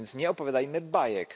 Więc nie opowiadajmy bajek.